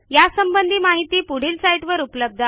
यासंबंधी माहिती पुढील साईटवर उपलब्ध आहे